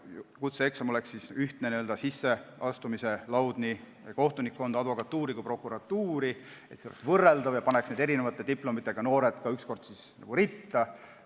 Kutseeksam oleks ühtne n-ö sisseastumislaud kohtunikkonda, advokatuuri ja ka prokuratuuri, tekiks võrreldavus ja see paneks ka eri diplomiga noored ritta.